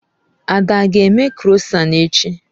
Ada aga eme krọsan echi?